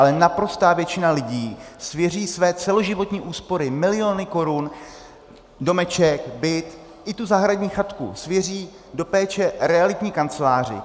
Ale naprostá většina lidí svěří své celoživotní úspory, miliony korun, domeček, byt i tu zahradní chatku svěří do péče realitní kanceláři.